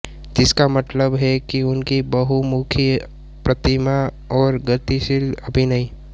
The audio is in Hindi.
जिसका मतलब है कि उनकी बहुमुखी प्रतिभा और गतिशील अभिनय